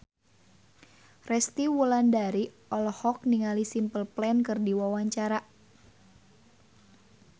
Resty Wulandari olohok ningali Simple Plan keur diwawancara